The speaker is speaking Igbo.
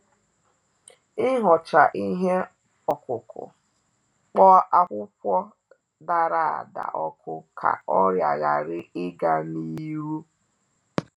Ihocha ihe okuku, kpo akwụkwọ dara-ada oku ka ọrịa hari-ịga ni iru